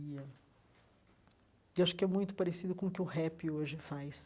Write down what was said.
Eu acho que é muito parecido com o que o rap hoje faz.